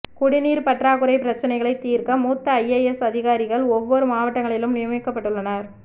குடிநீர் பற்றாகுறை பிரச்சனைகளை தீர்க்க மூத்த ஐஏஎஸ் அதிகாரிகள் ஒவ்வொரு மாவட்டங்களிலும் நியமிக்கபப்ட்டுள்ளனர்